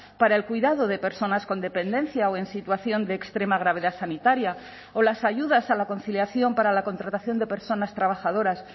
para el cuidado de personas con dependencia o en situación de extrema gravedad sanitaria o las ayudas a la conciliación para la contratación de personas trabajadoras